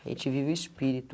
A gente vive o espírito.